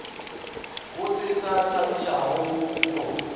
go se se thabišago go